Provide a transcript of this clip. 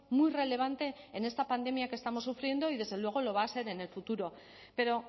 muy relevante en esta pandemia que estamos sufriendo y desde luego lo va a ser en el futuro pero